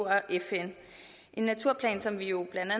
fn en naturplan som vi jo blandt